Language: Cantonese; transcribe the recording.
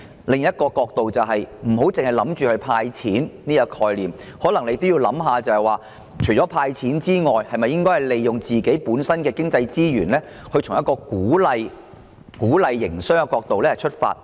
另一問題是政府不應單單採用"派錢"這個概念，可能還要思考在"派錢"以外，是否還應利用本港的經濟資源，從鼓勵營商的角度解決問題？